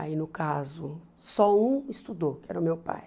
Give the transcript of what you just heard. Aí, no caso, só um estudou, que era o meu pai.